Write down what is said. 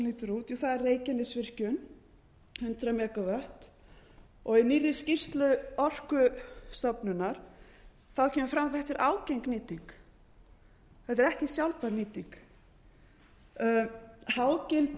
lítur úr það er reykjanesvirkjun hundrað megavatt í nýrri skýrslu orkustofnunar kemur fram að þetta er ágeng nýting þetta er ekki sjálfbær nýting hágildi